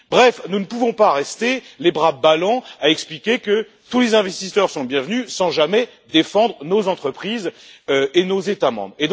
Bref, nous ne pouvons pas rester les bras ballants à expliquer que tous les investisseurs sont les bienvenus, sans jamais défendre nos entreprises et nos États membres.